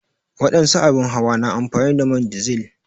wadansu abin hawa na amfani da man dizil.